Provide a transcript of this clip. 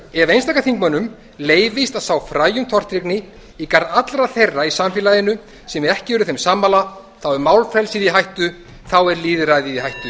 ef einstaka þingmönnum leyfist að sá fræjum tortryggni í garð allra þeirra í samfélaginu sem ekki eru þeim sammála þá er málfrelsið í hættu þá er lýðræðið í hættu